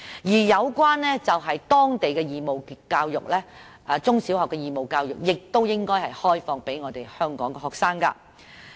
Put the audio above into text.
此外，當地中小學的義務教育也應該開放予香港學生。